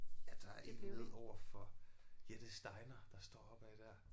Ja der er et nede overfor Jettes Diner der står op ad der